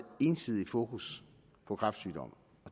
ensidige fokus på kræftsygdomme